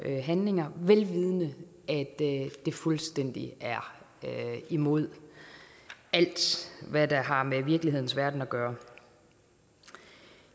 handlinger vel vidende at det fuldstændig er imod alt hvad der har med virkelighedens verden at gøre